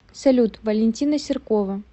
салют валентина серкова